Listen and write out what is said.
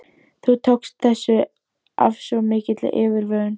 Þú tókst þessu af svo mikilli yfirvegun.